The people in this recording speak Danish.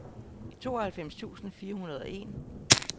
tooghalvfems tusind fire hundrede og en